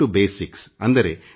ಅಂದರೆ ಮೂಲಕ್ಕೆ ಮರಳುವುದು